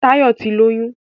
Táyọ̀ ti lóyún